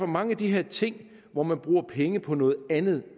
mange af de her ting hvor man bruger penge på noget andet